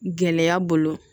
Gɛlɛya bolo